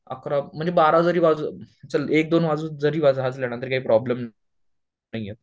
अकरा म्हणजे बारा जरी वाजले चल एक दोन वाजून जरी वाजले ना तरी काही प्रोब्लेम नाही येत